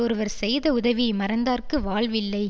ஒருவர் செய்த உதவியை மறந்தார்க்கு வாழ்வில்லை